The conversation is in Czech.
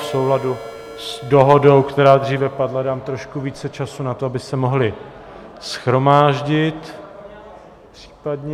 V souladu s dohodou, která dříve padla, dám trošku více času na to, aby se mohli shromáždit případně.